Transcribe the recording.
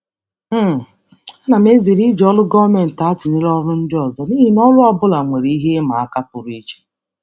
um Ana m ezere iji ọrụ gọọmentị atụnyere ọrụ ndị ọzọ n'ihi na ọrụ ọ bụla nwere ihe ịma aka pụrụ iche.